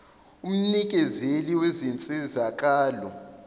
umnikezeli wezinsizaka lo